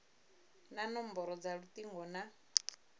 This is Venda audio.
na nomboro dza lutingo na